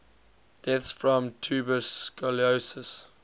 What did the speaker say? deaths from tuberculosis